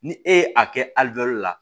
Ni e ye a kɛ la